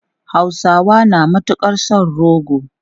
Hausawa na matukar son rogo.